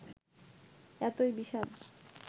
এতই বিষাদ